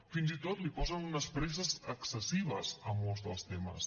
fins i tot hi posen unes presses excessives a molts dels temes